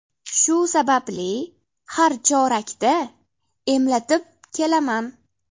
Shu sababli har chorakda emlatib kelaman.